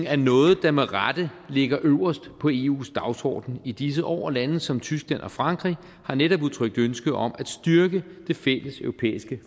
er noget der med rette ligger øverst på eus dagsorden i disse år og lande som tyskland og frankrig har netop udtrykt ønske om at styrke det fælleseuropæiske